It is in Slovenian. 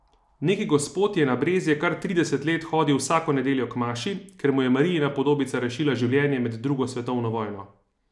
Neki gospod je na Brezje kar trideset let hodil vsako nedeljo k maši, ker mu je Marijina podobica rešila življenje med drugo svetovno vojno.